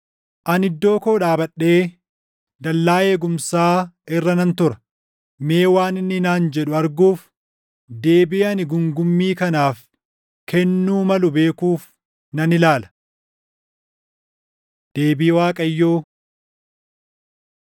Ani iddoo koo dhaabadhee dallaa eegumsaa irra nan tura; mee waan inni naan jedhu arguuf deebii ani guungummii kanaaf kennuu malu beekuuf nan ilaala. Deebii Waaqayyoo